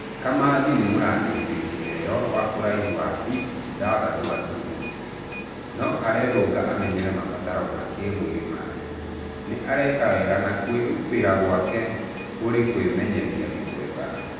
Kamathi nĩ mũrangiri wĩ kĩheo wa ũraihu wa biti ithathatũ gaturumo igĩrĩ, No arerũnga amenyere mabatara ma kĩmwĩrĩ ma rigi, nĩ areka wega na kũĩrutĩra gwake kũrĩ kũĩmenyeria nĩ kwega.